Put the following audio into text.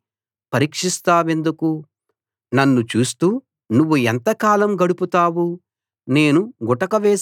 నన్ను చూస్తూ నువ్వు ఎంతకాలం గడుపుతావు నేను గుటక వేసే వరకూ నన్ను విడిచిపెట్టవా